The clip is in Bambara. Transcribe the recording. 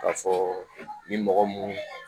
K'a fɔ ni mɔgɔ mun